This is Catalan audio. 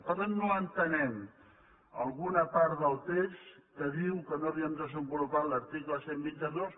per tant no entenem alguna part del text que diu que no havíem desenvolupat l’article cent i vint dos